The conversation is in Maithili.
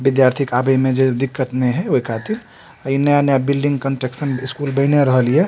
विद्यार्थी के आवे मे जे दिक्कत ने होय ओय खातिर अने ओने बिल्डिंग कंस्ट्रक्शन स्कूल बएने रहल ये।